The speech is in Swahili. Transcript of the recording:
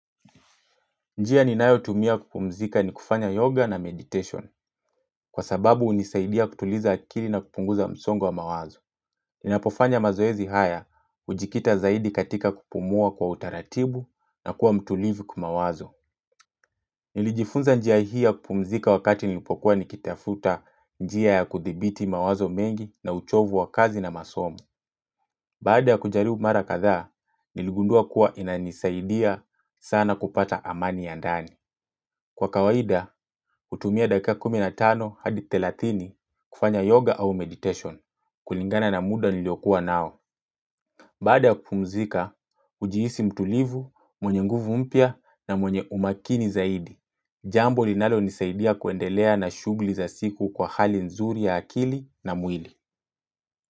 Njia ni nayo tumia kupumzika ni kufanya yoga na meditation, kwa sababu unisaidia kutuliza akili na kupunguza msongwa mawazo. Ninapofanya mazoezi haya, ujikita zaidi katika kupumua kwa utaratibu na kuwa mtulivu kumawazo. Nilijifunza njia hia kupumzika wakati nilipokuwa nikitafuta njia ya kuthibiti mawazo mengi na uchovu wa kazi na masomu. Baada ya kujariu mara katha, niligundua kuwa inanisaidia sana kupata amani ya ndani. Kwa kawaida, utumia dakika kumina tano hadi telatini kufanya yoga au meditation. Kulingana na muda nilio kuwa nao. Bada kumzika, ujiisi mtulivu, mwenye nguvu mpia na mwenye umakini zaidi. Jambo linalo nisaidia kuendelea na shugli za siku kwa hali nzuri ya akili na mwili.